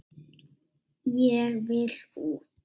Ég vil út!